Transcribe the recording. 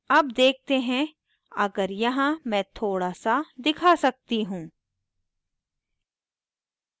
अब देखते हैं अगर यहाँ मैं थोड़ा s दिखा सकती हूँ